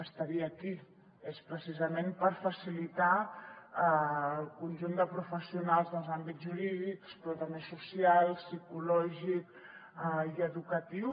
estaria aquí precisament per facilitar al conjunt de professionals dels àmbits jurídics però també social psicològic i educatiu